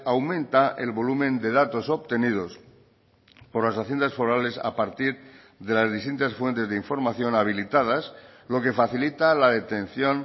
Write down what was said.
aumenta el volumen de datos obtenidos por las haciendas forales a partir de las distintas fuentes de información habilitadas lo que facilita la detención